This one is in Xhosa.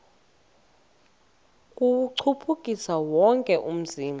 kuwuchukumisa wonke umzimba